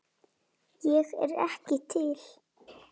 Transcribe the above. Ég er ekki til.